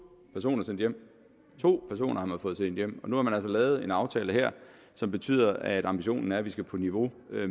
personer sendt hjem to personer har man fået sendt hjem og nu er lavet en aftale her som betyder at ambitionen er at vi skal på niveau